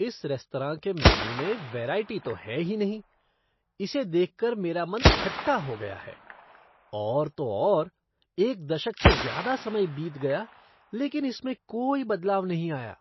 इस रेस्तराँ के मेनू में वेराइटी तो है ही नहीं। इसे देखकर मेरा मन खट्टा हो गया है। और तो और, एक दशक से ज़्यादा समय बीत गया, लेकिन इसमें कोई बदलाव नहीं आया।